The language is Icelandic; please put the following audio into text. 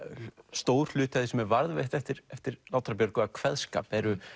stór hluti sem er varðveitt eftir eftir Björgu af kveðskap eru